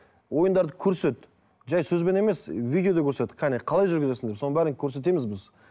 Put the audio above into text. ойындарды көрсет жай сөзбен емес видеода көрсет қане қалай жүргізесің деп соның бәрін көрсетеміз біз